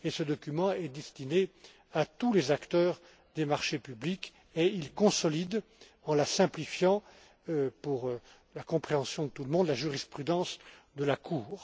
Ce document est destiné à tous les acteurs des marchés publics il consolide, en la simplifiant pour la compréhension de tout le monde, la jurisprudence de la